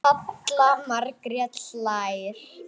Halla Margrét hlær.